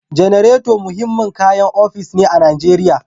Generator muhimmin kayan ofis ne a Najeriya